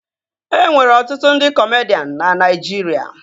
E nwere ọtụtụ ndị kọmedian na Naịjirịa